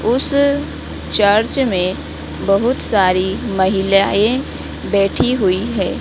उस चर्च में बहुत सारी महिलाएं बैठी हुई है।